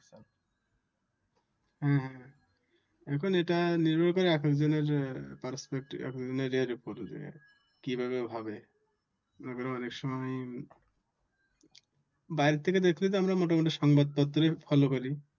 এখন এটা নির্ভর করে একেক জনের perspective একেক জনের ওপরে কি ভাবে হবে? আবার অনেক সময় বাহিরের থেকে দেখলে তো আমরা সংবাদ পত্রে follow করি।